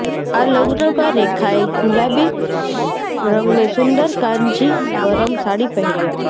આ લગ્ન માં રેખા એ ગુલાબી રંગની સુંદર કાંજીવરમ સાડી પહેરી હતી